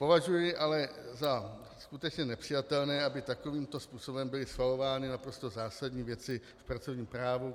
Považuji ale za skutečně nepřijatelné, aby takovýmto způsobem byly schvalovány naprosto zásadní věci v pracovním právu.